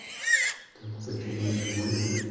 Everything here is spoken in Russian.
так почему я живой